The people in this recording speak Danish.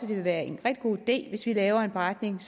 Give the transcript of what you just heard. det vil være en rigtig god idé hvis vi laver en beretning